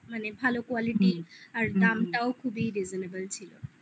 ভালো quality আর দামটাও খুবই reasonable ছিল